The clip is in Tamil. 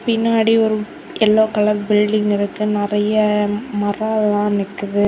பின்னாடி ஒரு எல்லோ கலர் பில்டிங் இருக்கு நறைய மரம் எல்லாம் நிக்குது.